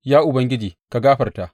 Ya Ubangiji ka gafarta!